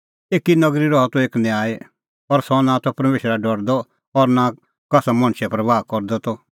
एकी नगरी रहा त एक न्यायी सह नां परमेशरा का डरदअ त और नां कसा मणछे परबाह करदअ त